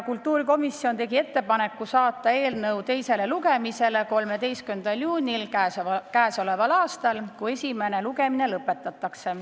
Otsustasime teha ettepaneku saata eelnõu teisele lugemisele 13. juuniks.